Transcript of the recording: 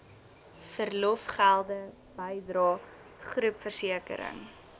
verlofgelde bydrae groepversekering